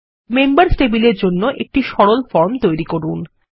members টেবিলের জন্য একটি সরল ফর্ম তৈরি করুন